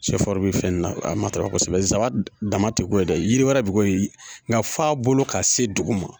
zaba dama ti ko ye dɛ yiri wɛrɛ bi k'o ye nga fɔ a bolo ka se dugu ma.